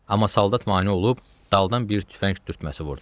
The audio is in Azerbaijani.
Amma saldat mane olub daldan bir tüfəng dürtməsi vurdu.